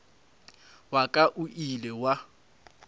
wa ka o ile wa